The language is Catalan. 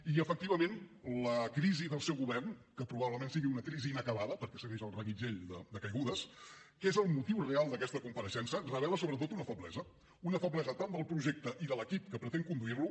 i efectivament la crisi del seu govern que probablement és una crisi inacabada perquè segueix el reguitzell de caigudes que és el motiu real d’aquesta compareixença revela sobretot una feblesa una feblesa tant del projecte i de l’equip que pretén conduir lo